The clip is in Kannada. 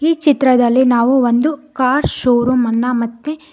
ಈ ಚಿತ್ರದಲ್ಲಿ ನಾವು ಒಂದು ಕಾರ್ ಶೋರೂಮ್ ಅನ್ನ ಮತ್ತೆ.